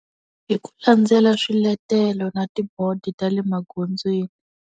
Hi ku landzela swiletelo na ti-board ta le magondzweni.